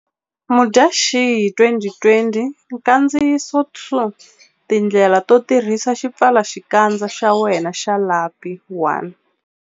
Mudyaxihi 2020 Nkandziyiso 2 Tindlela to tirhisa xipfalaxikandza xa wena xa lapi 1.